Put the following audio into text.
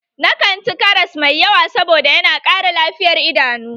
Na kanci karas mai yawa saboda yana ƙara lafiyar idanu.